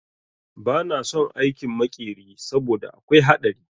Ba na son aikin makeri saboda akwai haɗari